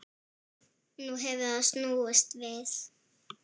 Nú hefur það snúist við.